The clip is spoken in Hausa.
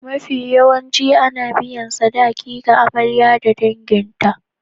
Mafiyawancin ana na biyan sadaki ga Amarya da danginta.